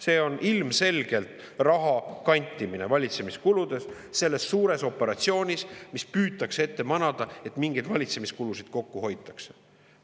See on ilmselgelt raha kantimine valitsemiskuludeks selles suures operatsioonis, milles püütakse ette manada, et mingeid valitsemiskulusid hoitakse kokku.